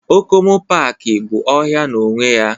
Okomu paaki bụ ọhịa n'onwe ya